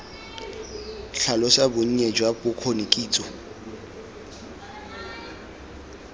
tlhalosa bonnye jwa bokgoni kitso